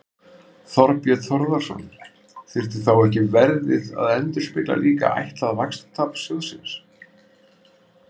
Þorbjörn Þórðarson: Þyrfti þá ekki verðið að endurspegla líka ætlað vaxtatap sjóðsins?